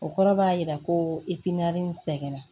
O kɔrɔ b'a jira ko nin sɛgɛn na